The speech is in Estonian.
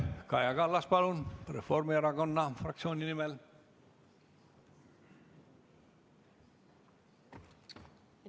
Kaja Kallas Reformierakonna fraktsiooni nimel, palun!